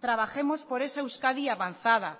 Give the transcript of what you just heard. trabajemos por esa euskadi avanzada